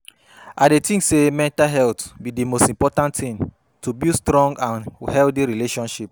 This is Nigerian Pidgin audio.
I dey think say mental health be di most important thing to build strong and healthy relationships.